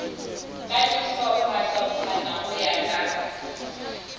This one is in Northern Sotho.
ka dihlophahlophana go ya ka